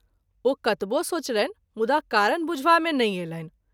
ओ कतबो सोचलनि मुदा कारण बुझवा मे नहिं अएलनि।